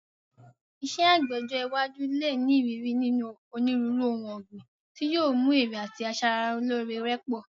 Iṣẹ́ àgbẹ̀ ọjọ́ iwájú lè ní ìrírí nínú onírúurú ohun ọ̀gbìn, tí yóò mú èrè àti asara lóore rẹ̀ pọ̀.